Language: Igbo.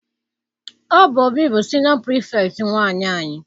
Ọ bụ Obi bụ siniọ pirifektị nwaanyị anyị.